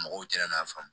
Mɔgɔw cɛn na a faamu